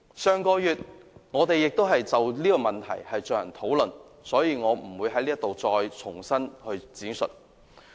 我們在上月曾就此問題進行討論，所以我不會在此重新闡述。